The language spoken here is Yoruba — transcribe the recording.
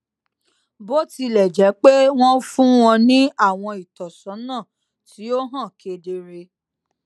bó tilè jé pé wón fún wọn ní àwọn ìtósónà tí ó hàn kedere